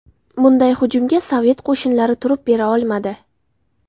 Bunday hujumga Sovet qo‘shinlari turib bera olmadi.